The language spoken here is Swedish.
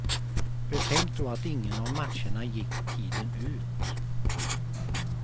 Betänk då att ingen av matcherna gick tiden ut.